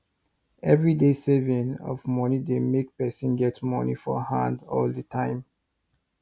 everyday saving of money dey make person get money for hand all the time